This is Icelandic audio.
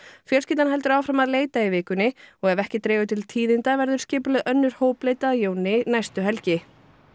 fjölskyldan heldur áfram að leita í vikunni og ef ekki dregur til tíðinda verður skipulögð önnur hópleit að Jóni næstu helgi